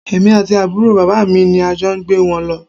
Èmi àti àbúrò bàbá mi ni a jọ gbé wọn lọ